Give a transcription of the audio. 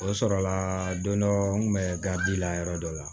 O sɔrɔla don dɔ n kun bɛ la yɔrɔ dɔ la